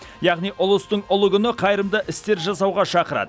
яғни ұлыстың ұлы күні қайырымды істер жасауға шақырады